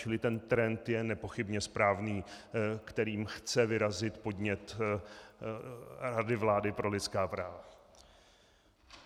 Čili ten trend je nepochybně správný, kterým chce vyrazit podnět Rady vlády pro lidská práva.